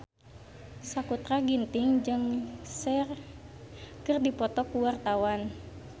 Sakutra Ginting jeung Cher keur dipoto ku wartawan